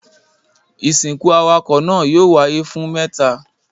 Ìsìnkú awakọ̀ náà yóò wáyé fún mẹ́ta.